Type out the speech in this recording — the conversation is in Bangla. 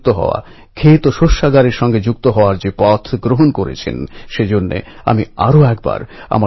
এই কবিতার লাইনগুলি আশফাক উল্লাহ্ খান ভগৎ সিং চন্দ্রশেখর আজাদের মতো তেজীদের প্রেরণা দিয়েছিল